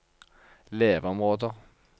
leveområder